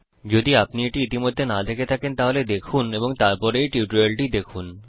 যদি আপনি এটি ইতিমধ্যে না দেখে থাকেন তাহলে দেখুন এবং তারপর এই টিউটোরিয়ালটি দেখুন